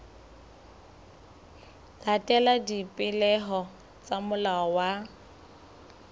latela dipehelo tsa molao wa